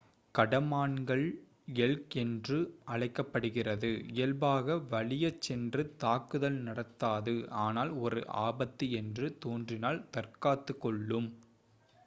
கடமான்கள் elk என்றும் அழைக்கப் படுகிறது இயல்பாக வலியச் சென்று தாக்குதல் நடத்தாது ஆனால் ஒரு ஆபத்து என்று தோன்றினால் தற்காத்துக் கொள்ளும்